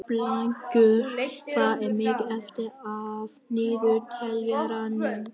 Blængur, hvað er mikið eftir af niðurteljaranum?